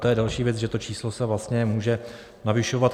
To je další věc, že to číslo se vlastně může navyšovat.